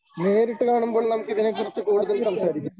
നേരിട്ട് കാണുമ്പോൾ നമുക്കിതിനെക്കുറിച്ച് കൂടുതൽ സംസാരിക്കാം.